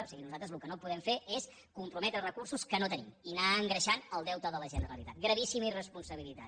o sigui nosaltres el que no podem fer és comprometre recursos que no tenim i anar engreixant el deute de la generalitat gravíssima irresponsabilitat